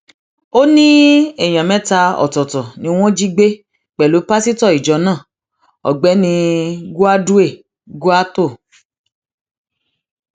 ó ní èèyàn mẹta ọtọọtọ ni wọn jí gbé pẹlú pásítọ ìjọ náà ọgbẹni gwadue kwaghto